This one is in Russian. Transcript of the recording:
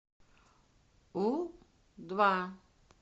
у два